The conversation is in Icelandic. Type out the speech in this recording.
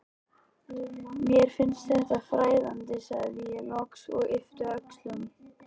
Mér finnst þetta fræðandi, sagði ég loks og yppti öxlum.